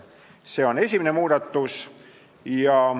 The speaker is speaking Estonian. See on esimene muudatusettepanek.